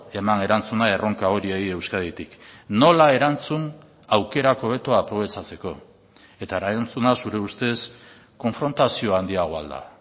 eman erantzuna erronka horiei euskaditik nola erantzun aukerak hobeto aprobetxatzeko eta erantzuna zure ustez konfrontazio handiagoa al da